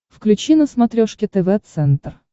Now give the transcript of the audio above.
включи на смотрешке тв центр